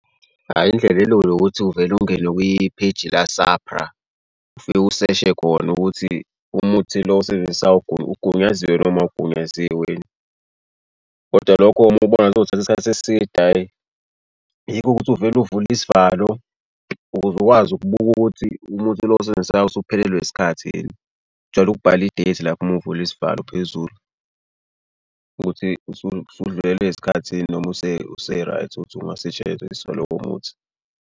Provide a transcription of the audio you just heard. Hhayi indlela elula ukuthi uvele ungene kwipheyiji la-SAPRA ufike useshe khona ukuthi umuthi lo osebenzisayo ugunyaziwe noma awugunyaziwe. Kodwa lokho uma ubona kuzothatha isikhathi eside ayi yiko ukuthi uvele uvule isivalo ukuze ukwazi ukubuka ukuthi umuthi lo owusebenzisayo usuphelelwe isikhathi yini. Kujwayele ukubhalwa i-date lapha uma uvula isivalo phezulu ukuthi usudlulelwe isikhathi noma use-right ukuthi ungasetshenziswa lowo muthi.